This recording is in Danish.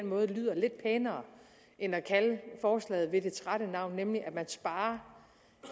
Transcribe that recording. måde lyder lidt pænere end at kalde forslaget ved dets rette navn nemlig at man sparer